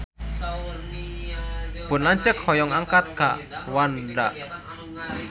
Pun lanceuk hoyong angkat ka Rwanda